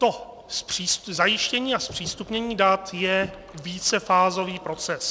To zajištění a zpřístupnění dat je vícefázový proces.